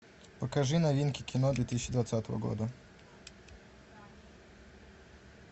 покажи новинки кино две тысячи двадцатого года